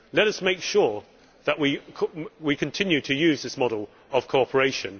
Let us make sure that we continue to use this model of cooperation.